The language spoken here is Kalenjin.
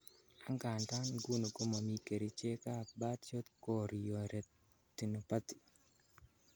Angandan, nguni komomi kerichekab birdshot chorioretinopathy.